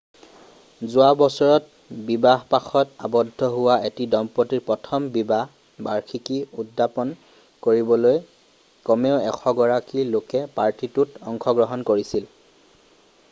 যোৱা বছৰত বিবাহপাশত আবদ্ধ হোৱা এটি দম্পতীৰ প্ৰথম বিবাহ বাৰ্ষিকী উদাপন কৰিবলৈ কমেও 100 গৰাকী লোকে পাৰ্টিটোত অংশগ্ৰহণ কৰিছিল